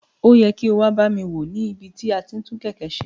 O yẹ ki o wa ba mi wo ni ibi ti ati n tun keke ṣe.